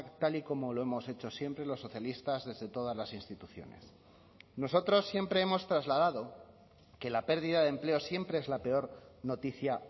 tal y como lo hemos hecho siempre los socialistas desde todas las instituciones nosotros siempre hemos trasladado que la pérdida de empleo siempre es la peor noticia